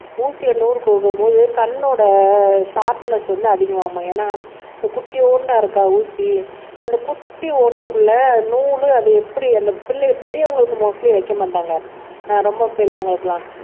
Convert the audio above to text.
ஊசியை நூல் கோக்கும்போது கண்ணோட ஷார்ப்னஸ் வந்து அதிகமாகுமாம் ஏன்னா இந்த குட்டியோண்டா இருக்கா ஊசி அந்த குட்டி ஓட்டைக்குள்ள நூலு அது எப்படி அந்த பிள்ளை பெரியவங்களுக்கு மோஸ்ட்லி வைக்க மாட்டாங்க ரொம்ப பெரியவங்களுக்கெல்லாம்